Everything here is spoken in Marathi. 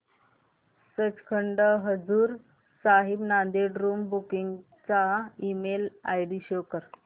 सचखंड हजूर साहिब नांदेड़ रूम बुकिंग चा ईमेल आयडी शो कर